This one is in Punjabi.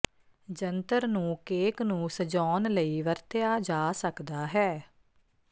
ਜੰਤਰ ਨੂੰ ਕੇਕ ਨੂੰ ਸਜਾਉਣ ਲਈ ਵਰਤਿਆ ਜਾ ਸਕਦਾ ਹੈ